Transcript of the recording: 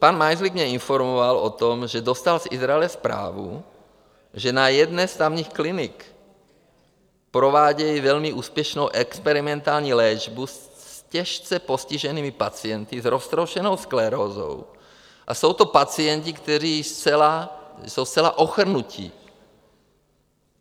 Pan Majzlík mě informoval o tom, že dostal z Izraele zprávu, že na jedné z tamních klinik provádějí velmi úspěšnou experimentální léčbu s těžce postiženými pacienty s roztroušenou sklerózou a jsou to pacienti, kteří jsou zcela ochrnutí.